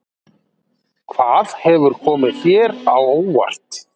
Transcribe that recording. Hvað hefur komið þér á óvart?